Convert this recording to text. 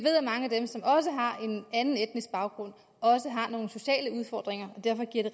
anden etnisk baggrund også har nogle sociale udfordringer og derfor giver det